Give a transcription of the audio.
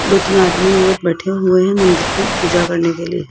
दो तीन आदमी औरत बैठे हुए हैं मंदिर पे पूजा करने के लिए।